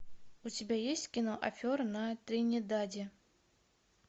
у тебя есть кино афера на тринидаде